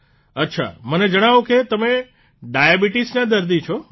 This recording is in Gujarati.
અચ્છા મને જણાવો કે તમે ડાયાબીટીસના દર્દી છો